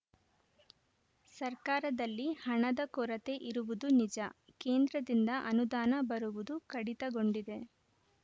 ಸರ್ಕಾರದಲ್ಲಿ ಹಣದ ಕೊರತೆ ಇರುವುದು ನಿಜ ಕೇಂದ್ರದಿಂದ ಅನುದಾನ ಬರುವುದು ಕಡಿತಗೊಂಡಿದೆ